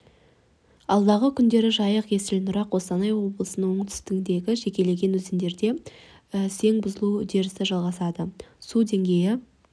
алдағы күндері жайық есіл нұра қостанай облысының оңтүстігіндегі жекелеген өзендерде сең бұзылу үдерісі жалғасады су деңгейі